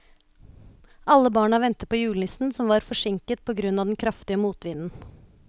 Alle barna ventet på julenissen, som var forsinket på grunn av den kraftige motvinden.